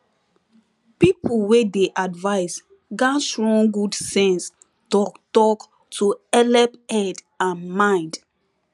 people wey dey advice gats run good sense talktalk to helep head and mind